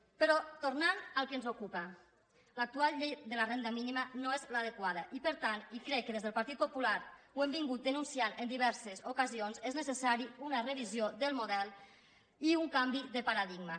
però tornant al que ens ocupa l’actual llei de la renda mínima no és l’adequada i per tant i crec que des del partit popular ho hem denunciat en diverses ocasions són necessaris una revisió del model i un canvi de paradigma